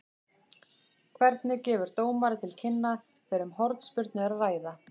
Hvernig gefur dómari til kynna þegar um hornspyrnu er að ræða?